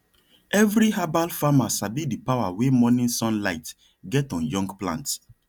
every herbal farmer sabi the power wey morning sunlight get on young plants